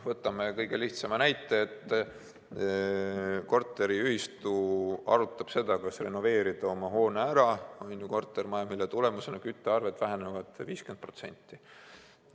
Võtame kõige lihtsama näite: korteriühistu arutab, kas renoveerida oma hoone, mille tulemusena väheneksid küttearved 50%.